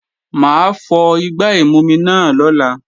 Mà á fọ igbá ìmumi náà lọ́la